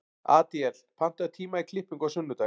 Adíel, pantaðu tíma í klippingu á sunnudaginn.